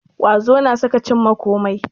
Ƙwazo na sa ka cimma kome